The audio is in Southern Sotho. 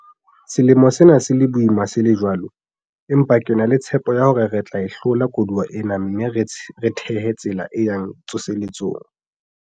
Selemo sena se le boima se le jwalo, empa ke na le tshepo ya hore re tla e hlola koduwa ena mme re thehe tsela e yang tsoseletsong.